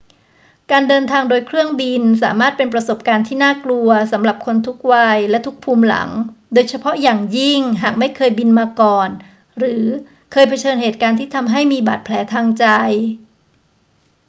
การเดินทางโดยเครื่องบินสามารถเป็นประสบการณ์ที่น่ากลัวสำหรับคนทุกวัยและทุกภูมิหลัง โดยเฉพาะอย่างยิ่งหากไม่เคยบินมาก่อนหรือเคยเผชิญเหตุการณ์ที่ทำให้มีบาดแผลทางใจ